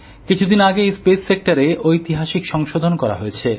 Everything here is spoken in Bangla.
কিছুদিন আগেই মহাকাশ ক্ষেত্রে ঐতিহাসিক সংশোধন করা হয়েছে